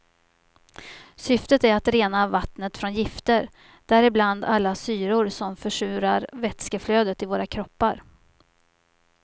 Syftet är att rena vattnet från gifter, däribland alla syror som försurar vätskeflödet i våra kroppar.